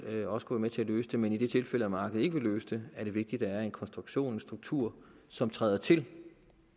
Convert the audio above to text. også kunne være med til at løse det men i det tilfælde hvor markedet ikke vil løse det er det vigtigt at der er en konstruktion en struktur som træder til